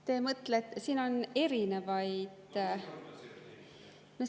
Te mõtlete, siin on erinevaid ...